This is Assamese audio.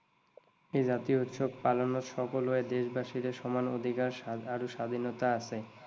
এই জাতীয় উৎসৱ পালনত সকলো দেশবাসীৰে সমান অধিকাৰ আৰু স্বাধীনতা আছে।